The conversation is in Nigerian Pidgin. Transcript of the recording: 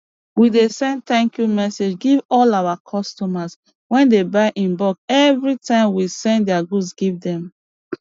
we dey send thank you message give all our customers wey dey buy in bulk evri time we send dia goods give dem